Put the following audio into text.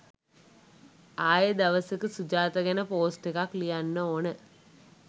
ආයේ දවසක සුජාතා ගැන පෝස්ට් එකක් ලියන්න ඕන